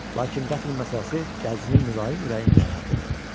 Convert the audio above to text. Lakin qətl məsələsi dəcilin mülayim ürəyini narahat elədi.